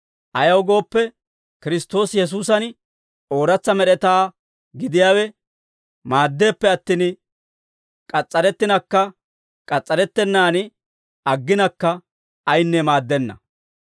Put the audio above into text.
Ayaw gooppe, Kiristtoosi Yesuusan ooratsa med'etaa gidiyaawe maaddeeppe attin, k'as's'arettinakka k'as's'arettennaan agginakka ayinne maaddenna.